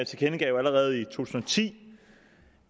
tilkendegav allerede i tusind og ti